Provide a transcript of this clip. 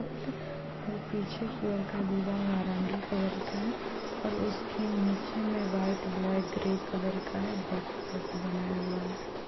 और पीछे की और का दीवाल नारंगी कलर का है और उसके नीचे में व्हाइट ब्लैक ग्रे कलर का है बॉक्स जैसा बनाया हुआ है।